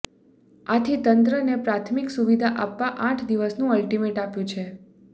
આથી તંત્રને પ્રાથમીક સુવિધા આપવા આઠ દિવસનું અલ્ટીમેન્ટ આપ્યુ છે